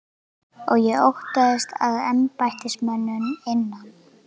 Og ég óttaðist að embættismönnum innan